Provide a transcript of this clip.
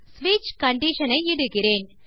ஸ்விட்ச் கண்டிஷன் ஐ இடுகிறேன்